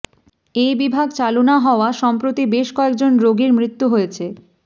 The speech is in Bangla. এই বিভাগ চালু না হওয়া সম্প্রতি বেশ কয়েকজন রোগীর মৃত্যু হয়েছে